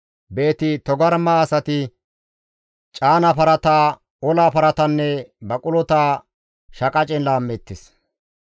«Beeti-Togarma asati caana parata, ola paratanne baqulota shaqacen laammeettes.